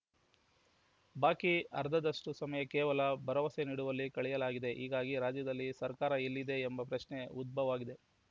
ಬಾಕಿ ಅರ್ಧದಷ್ಟುಸಮಯ ಕೇವಲ ಭರವಸೆ ನೀಡುವಲ್ಲಿ ಕಳೆಯಲಾಗಿದೆ ಹೀಗಾಗಿ ರಾಜ್ಯದಲ್ಲಿ ಸರ್ಕಾರ ಎಲ್ಲಿದೆ ಎಂಬ ಪ್ರಶ್ನೆ ಉದ್ಭವಾಗಿದೆ